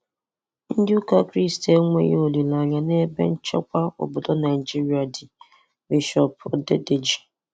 Ndị ụka kristi enweghị olileanya n'ebe nchekwa obodo Naịjirịa dị- Bishop Odedeji.